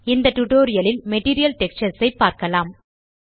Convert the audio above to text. இந்த டியூட்டோரியல் லில் material textures ஐ பார்க்கலாம்